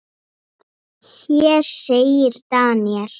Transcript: Hér segir Daniel